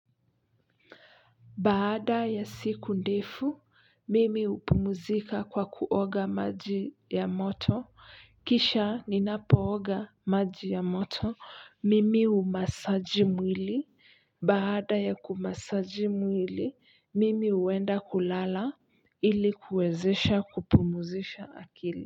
Baada ya siku ndefu mimi hupumuzika kwa kuoga maji ya moto kisha ninapooga maji ya moto mimi humasaji mwili baada ya kumasaji mwili mimi huenda kulala ili kuwezesha kupumuzisha akili.